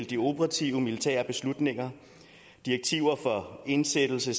de operative militære beslutninger direktiver for indsættelse